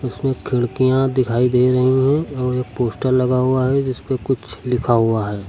खिड़कियां दिखाई दे रही हैं और एक पोस्टर लगा हुआ है जिसपे कुछ लिखा हुआ है।